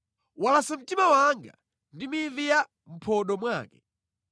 Walasa mtima wanga ndi mivi ya mʼphodo mwake.